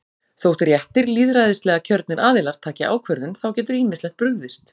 Þótt réttir lýðræðislega kjörnir aðilar taki ákvörðun, þá getur ýmislegt brugðist.